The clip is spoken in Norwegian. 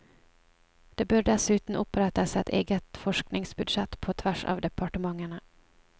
Det bør dessuten opprettes et eget forskningsbudsjett på tvers av departementene.